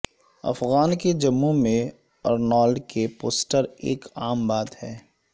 افغان کے جموں میں ارنالڈ کے پوسٹر ایک عام بات ہے